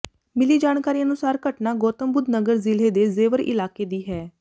ਮਿਲੀ ਜਾਣਕਾਰੀ ਅਨੁਸਾਰ ਘਟਨਾ ਗੌਤਮਬੁੱਧਨਗਰ ਜ਼ਿਲ੍ਹੇ ਦੇ ਜ਼ੇਵਰ ਇਲਾਕੇ ਦੀ ਹੈ